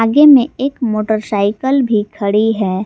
आगे में एक मोटरसाइकल भी खड़ी है।